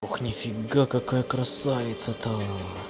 ох нифига какая красавица та